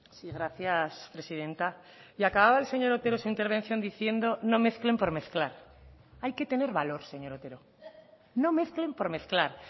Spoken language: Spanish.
sí gracias presidenta y acababa el señor otero su intervención diciendo no mezclen por mezclar hay que tener valor señor otero no mezclen por mezclar